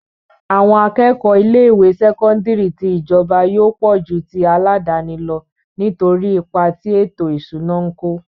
Àwọn akẹ́kọ̀ọ́ ilé ìwé sẹ́kọ́ńdírì tí ìjọba yóò pọ̀ ju ti aládàáni lọ nítorí ipa tí ètò ìṣúná ń kó.